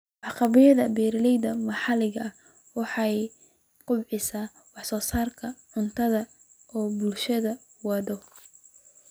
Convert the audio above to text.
Waxqabadyada beeralayda maxalliga ah waxay kobciyaan wax-soo-saarka cuntada ee bulshadu waddo.